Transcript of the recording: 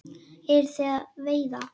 Eruð þið að veiða?